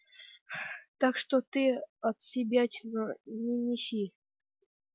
так что ты отсебятину не неси